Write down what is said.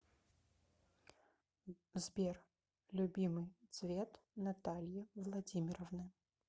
сбер любимый цвет натальи владимировны